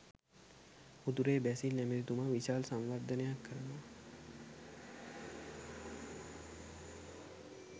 උතුරේ බැසිල් ඇමැතිතුමා විශාල සංවර්ධනයක් කරනවා